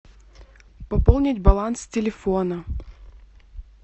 пополнить баланс телефона